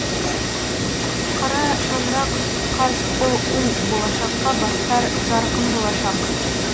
қара шаңырақ қазұу болашаққа бастар жарқын болашақ